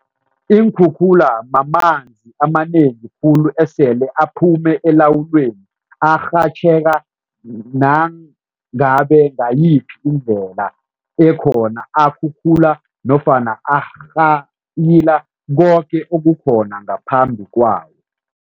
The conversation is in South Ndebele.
Iinkhukhula mamanzi amanengi khulu esele aphume elawuleni arhatjheka nangabe ngayiphi indlela ekhona, akhuphula nofana arhayila koke okukhona ngaphambi kwawo.